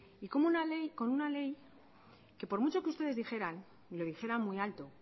y con una ley que por mucho que ustedes dijeran y lo dijeran muy alto